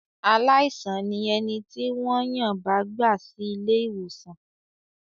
Aláìsàn ni ẹni tí wọ́n yàn bá gbà sí ilé-ìwòsàn.